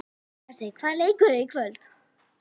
Bessi, hvaða leikir eru í kvöld?